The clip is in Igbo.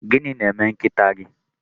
Gịnị na-eme nkịta gị?